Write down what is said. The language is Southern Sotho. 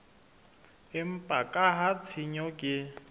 empa ka ha tshenyo ke